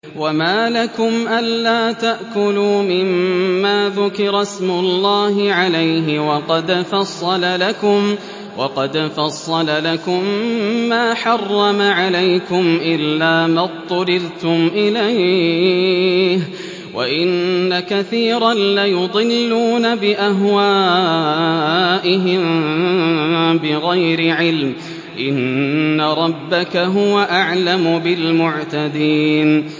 وَمَا لَكُمْ أَلَّا تَأْكُلُوا مِمَّا ذُكِرَ اسْمُ اللَّهِ عَلَيْهِ وَقَدْ فَصَّلَ لَكُم مَّا حَرَّمَ عَلَيْكُمْ إِلَّا مَا اضْطُرِرْتُمْ إِلَيْهِ ۗ وَإِنَّ كَثِيرًا لَّيُضِلُّونَ بِأَهْوَائِهِم بِغَيْرِ عِلْمٍ ۗ إِنَّ رَبَّكَ هُوَ أَعْلَمُ بِالْمُعْتَدِينَ